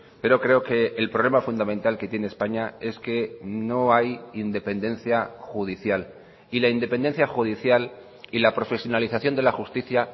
pero creo que el problema fundamental que tiene españa es que no hay independencia judicial y la independencia judicial y la profesionalización de la justicia